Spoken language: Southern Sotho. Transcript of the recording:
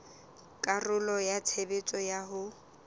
karolo ya tshebetso ya ho